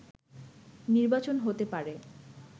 নির্বাচন হতে পারে